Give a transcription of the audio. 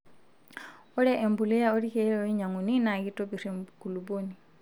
ore embuliya oo orkeel oinyanguni naa kitopir enkulupuoni